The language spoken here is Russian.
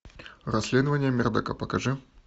расследование мердока покажи